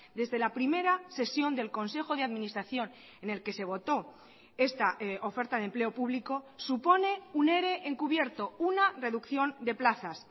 desde la primera sesión del consejo de administración en el que se votó esta oferta de empleo público supone un ere encubierto una reducción de plazas